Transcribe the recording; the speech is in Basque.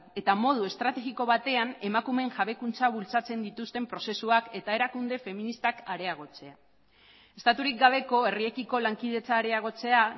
eta modu estrategiko batean emakumeen jabekuntza bultzatzen dituzten prozesuak eta erakunde feministak areagotzea estaturik gabeko herriekiko lankidetza areagotzea